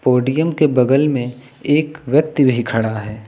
Podium के बगल में एक व्यक्ति भी खड़ा है।